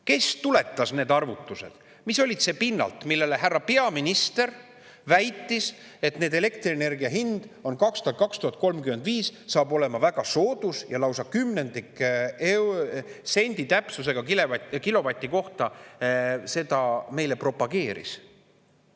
Kes tuletas need arvutused, mille pinnalt härra peaminister väitis, et elektrienergia hind saab 2035. aastal olema väga soodus, lausa kümnendiksendi täpsusega kilovati kohta, ja seda meile propageeris?